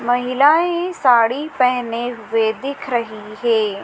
महिलाएं साड़ी पहने हुए दिख रही है।